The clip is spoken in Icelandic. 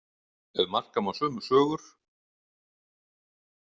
Ef marka má sömu sögur.